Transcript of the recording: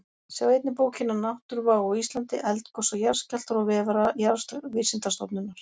Sjá einnig bókina Náttúruvá á Íslandi: Eldgos og jarðskjálftar og vef Jarðvísindastofnunar.